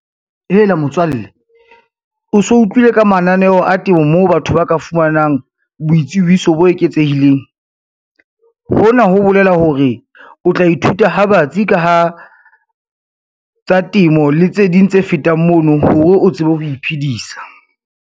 Hela motswalle, o so utlwile ka mananeo a temo moo batho ba ka fumanang boitsebiso bo eketsehileng. Hona ho bolela hore, o tla ithuta ha batsi ka ha, tsa temo le tse ding tse fetang mono hore o tsebe ho iphedisa.